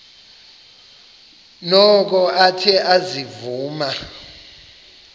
noko athe ezivuma